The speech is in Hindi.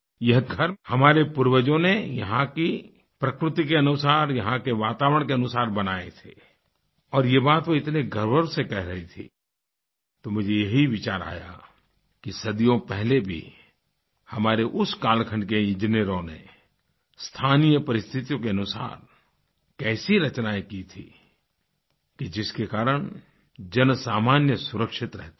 येघर हमारे पूर्वजों ने यहाँ की प्रकृति के अनुसार यहाँ के वातावरण के अनुसार बनाए थे और यह बात वह इतने गर्व से कह रही थी तो मुझे यही विचार आया कि सदियों पहले भी हमारे उस कालखंड के इंजीनियरों ने स्थानीय परिस्थितियों के अनुसार कैसी रचनाएं की थी कि जिसके कारण जनसामान्य सुरक्षित रहता था